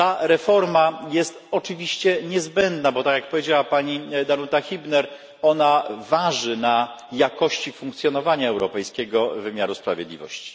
Reforma ta jest oczywiście niezbędna, bo tak jak powiedziała pani Danuta Hübner, waży ona na jakości funkcjonowania europejskiego wymiaru sprawiedliwości.